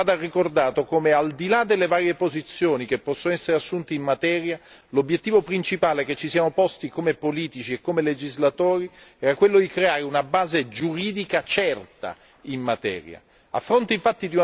Credo comunque che vada ricordato come, al di là delle varie posizioni che possono essere assunte in materia, l'obiettivo principale che ci siamo posti come politici e come legislatori era quello di creare una base giuridica certa in materia.